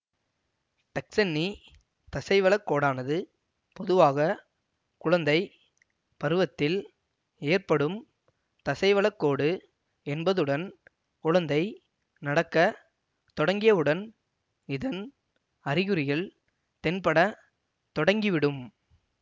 Duchenne தசைவளக்கோடானது பொதுவாக குழந்தை பருவத்தில் ஏற்படும் தசைவளக்கோடு என்பதுடன் குழந்தை நடக்க தொடங்கியவுடன் இதன் அறிகுறிகள் தென்பட தொடங்கிவிடும்